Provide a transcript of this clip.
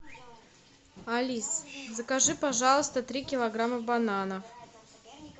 алиса закажи пожалуйста три килограмма бананов